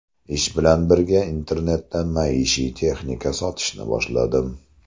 Ish bilan birga internetda maishiy texnika sotishni boshladim.